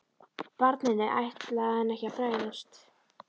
Barninu ætlaði hann ekki að bregðast.